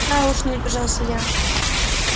да уж не удержался я